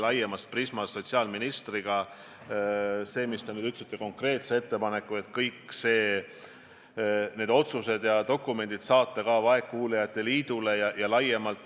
Nüüd te tegite konkreetse ettepaneku kõik otsused ja dokumendid saata ka vaegkuuljate liidule.